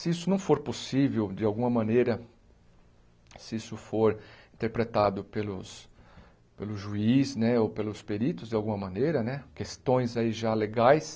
Se isso não for possível, de alguma maneira, se isso for interpretado pelos pelo juiz né ou pelos peritos de alguma maneira né, questões aí já legais,